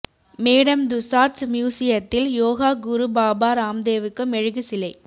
madam Tussauds மியூசியத்தில் யோகா குரு பாபா ராம்தேவுக்கு மெழுகு சிலை